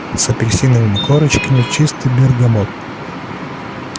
с апельсиновыми корочками чистый бергамот